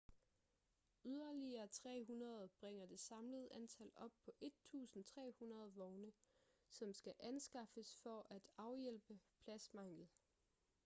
yderligere 300 bringer det samlede antal op på 1.300 vogne som skal anskaffes for at afhjælpe pladsmangel